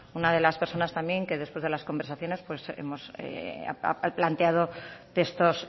una de las personas también que después de las conversaciones he planteado textos